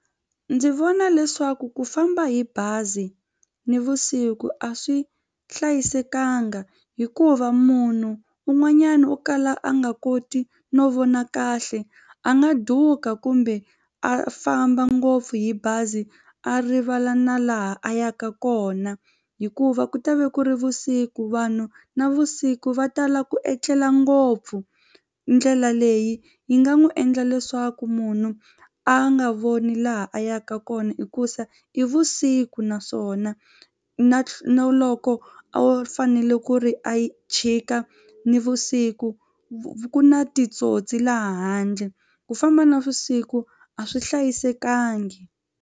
Ndzi vona leswaku ku famba hi bazi nivusiku a swi hlayisekanga hikuva munhu un'wanyana wo kala a nga koti no vona kahle a nga duka kumbe a a famba ngopfu hi bazi a rivala na laha a yaka kona hikuva ku ta va ku ri vusiku vanhu navusiku va tala ku etlela ngopfu ndlela leyi yi nga n'wi endla leswaku munhu a nga voni laha a yaka kona hikuza i vusiku naswona na na loko o fanele ku ri a chika nivusiku ku na titsotsi laha handle ku famba navusiku a swi hlayisekangi.